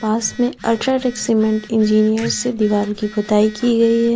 बस में UltraTech cement engineer से दीवाल कि पुताई की गई है।